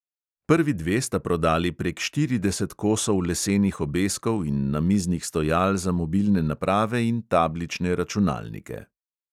Prvi dve sta prodali prek štirideset kosov lesenih obeskov in namiznih stojal za mobilne naprave in tablične računalnike.